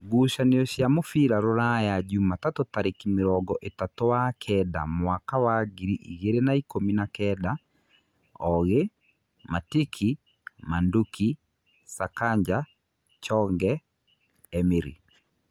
Ngucanio cia mũbira Rūraya Jumatatũ tarĩki mĩrongo-ĩtatũ wa kenda mwaka wa ngiri igĩrĩ na-ikũmi na-kenda: Ogĩ, Matiki, Manduki, Sakanja, Chonge, Emiri